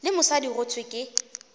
le mosadi go thwe ke